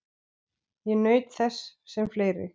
Ég naut þess sem fleiri.